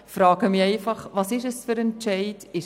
Da frage ich mich, was das für ein Entscheid ist.